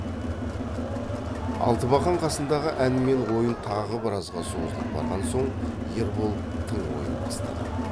алтыбақан қасындағы ән мен ойын тағы біразға созылып барған соң ербол тың ойын бастады